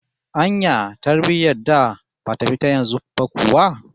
Anya tarbiyyar da bata fi ta yanzu ba kuwa?